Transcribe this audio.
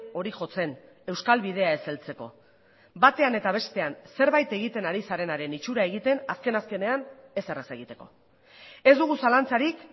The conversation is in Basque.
hori jotzen euskal bidea ez heltzeko batean eta bestean zerbaitegiten ari zarenaren itxura egiten azken azkenean ezer ez egiteko ez dugu zalantzarik